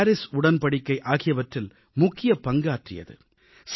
21 Cop21 Paris உடன்படிக்கை ஆகியவற்றில் முக்கிய பங்காற்றியது